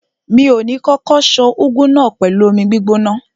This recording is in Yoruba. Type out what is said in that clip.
Mi ò ní kókó ṣan úgú náà pẹ̀lú omi gbígbóná.